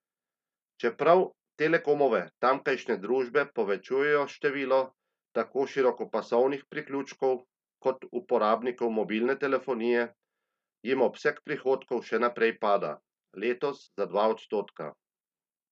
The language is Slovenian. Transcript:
Čeprav Telekomove tamkajšnje družbe povečujejo število tako širokopasovnih priključkov kot uporabnikov mobilne telefonije, jim obseg prihodkov še naprej pada, letos za dva odstotka.